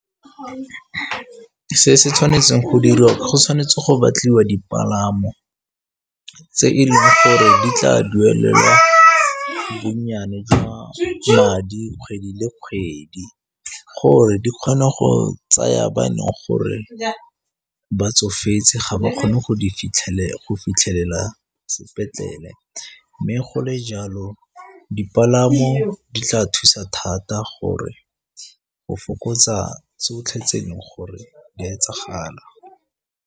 Se se tshwanetseng go dirwa go tshwanetse go batliwa dipalamo tse e leng gore di tla duelela bonnyane jwa madi kgwedi le kgwedi gore di kgone go tsaya ba neng gore ba tsofetse ga ba kgone go go fitlhelela sepetlele mme gole jalo dipalamo di tla thusa thata gore go fokotsa se o fitlhetseng gore di a etsagala.